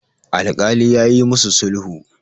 alkali ya yi musu sulhu